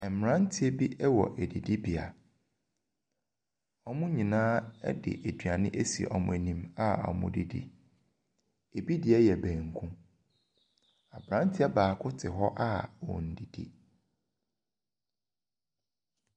Mmeranteɛ bi wɔ adidibea, wɔn nyinaa de aduane asi wɔn anim a wɔredidi, bi deɛ banku, aberanteɛ baako te hɔ ɔnndidi.